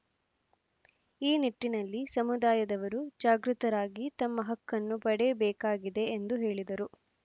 ಈ ನಿಟ್ಟಿನಲ್ಲಿ ಸಮುದಾಯದವರು ಜಾಗೃತರಾಗಿ ತಮ್ಮ ಹಕ್ಕನ್ನು ಪಡೆಯಬೇಕಾಗಿದೆ ಎಂದು ಹೇಳಿದರು